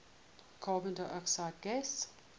carbon dioxide gas